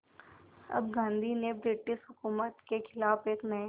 अब गांधी ने ब्रिटिश हुकूमत के ख़िलाफ़ एक नये